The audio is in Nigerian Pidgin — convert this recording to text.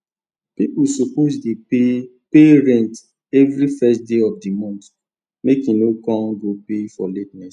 pipu suppose dey pay pay rent everi first day of d month make e no kon go pay for la ten ess